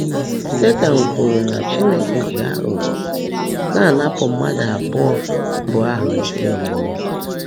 Sétan kwùrú ná Chínekè jị ághụ́ghọ́ ná-ánápú mmádụ́ abụọ́ mbụ́ áhụ́ ézí íhe.